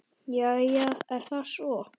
Jæja er það svo.